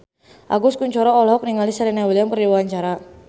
Agus Kuncoro olohok ningali Serena Williams keur diwawancara